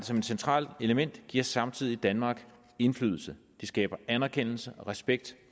som et centralt element giver samtidig danmark indflydelse det skaber anerkendelse og respekt